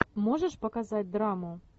можешь показать драму